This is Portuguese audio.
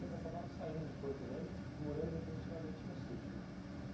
Então vocês acabaram saindo de Porto Velho e morando definitivamente no sítio, né?